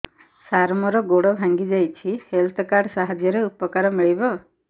ସାର ମୋର ଗୋଡ଼ ଭାଙ୍ଗି ଯାଇଛି ହେଲ୍ଥ କାର୍ଡ ସାହାଯ୍ୟରେ ଉପକାର ମିଳିବ